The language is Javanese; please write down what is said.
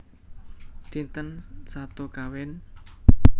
Dinten Sato Kéwan